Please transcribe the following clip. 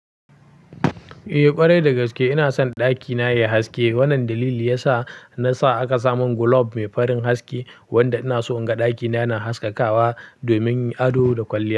Eh ƙwarai dagaske ina son ɗakina yayi haske. Wannan dalili yasa nasa aka samun glob mai farin haske wanda inaso inga ɗakina yana haskakawa domin ado da kwalliya.